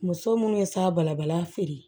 Muso minnu bɛ se a balabala feere